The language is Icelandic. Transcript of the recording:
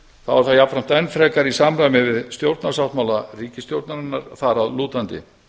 þá er það jafnframt enn frekar í samræmi við stjórnarsáttmála ríkisstjórnarinnar þar að lútandi